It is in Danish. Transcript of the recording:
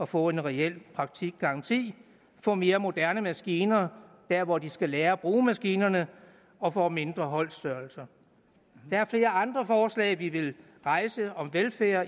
få en reel praktikgaranti få mere moderne maskiner der hvor de skal lære at bruge maskinerne og få mindre holdstørrelser der er flere andre forslag vi vil rejse om velfærd og